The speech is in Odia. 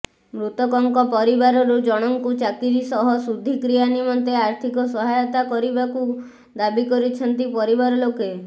ମୃତକଙ୍କ ପରିବାରରୁ ଜଣଙ୍କୁ ଚାକିରି ସହ ଶୁଦ୍ଧିକ୍ରିୟା ନିମନ୍ତେ ଆର୍ଥିକ ସହାୟତା କରିବାକୁ ଦାବି କରିଛନ୍ତି ପରିବାର ଲୋକେ